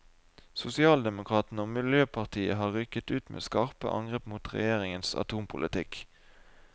Sosialdemokratene og miljøpartiet har rykket ut med skarpe angrep mot regjeringens atompolitikk.